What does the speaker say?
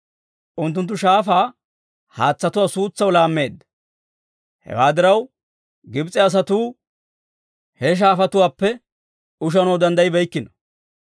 Unttunttu shaafaa haatsatuwaa suutsaw laammeedda; hewaa diraw, Gibs'e asatuu, he shaafatuwaappe ushanaw danddayibeykkino.